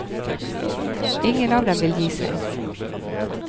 Ingen av dem vil gi seg.